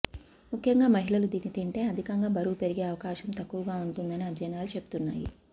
ముఖ్యంగా మహిళలు దీన్ని తింటే అధికంగా బరువు పెరిగే అవకాశం తక్కువగా ఉంటుందని అధ్యయనాలు చెబుతున్నాయి